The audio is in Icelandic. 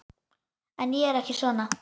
En ég er ekki svona.